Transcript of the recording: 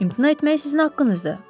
İmtina etmək sizin haqqınızdır,